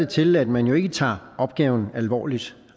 til at man ikke tager opgaven alvorligt